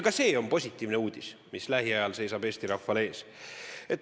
Ka see, mis lähiajal Eesti rahval ees seisab, on positiivne uudis.